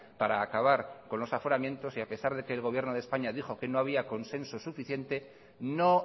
para acabar con los aforamientos y a pesar de que el gobierno de españa dijo que no había consenso suficiente no